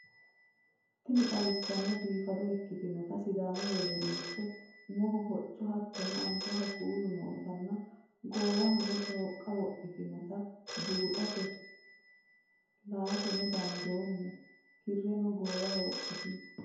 Tiini xawissanhu biifado ekktinota siidamu weedelitetti uumoho hooco haatono aalbahoo kuulu nootana goowahonno xoiqa wiirtinnota buuxate laatenno dandooma kiireno goiwaho wordtiino.